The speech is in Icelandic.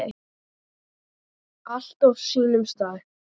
Allt á sínum stað.